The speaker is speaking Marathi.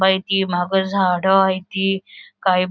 बाई ती माघ झाडं हाय ती काय --